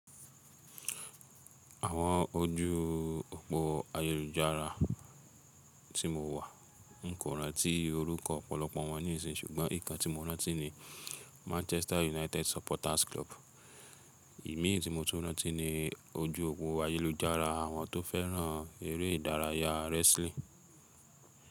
Àwọn ojú òpó ayélujára tí mo wà, n kò rántí orúkọ ọ̀pọ̀lọpọ̀ wọn níìsín, ṣùgbọ́n ǹkan tí mo rántí ni Manchester United Supporters Club. Ìmí tì mó tún rántí ni ojú òpó ayélujára àwọn tó fẹ́ràn eré ìdárayá wrestling.